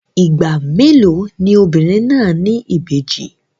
Ìgbà mélòó ni obìnrin náà ní ìbejì?